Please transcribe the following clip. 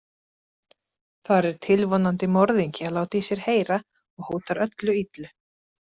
Þar er tilvonandi morðingi að láta í sér heyra og hótar öllu illu.